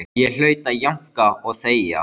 Ég hlaut að jánka og þegja.